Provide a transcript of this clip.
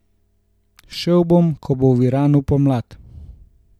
Šel bom, ko bo v Iranu pomlad.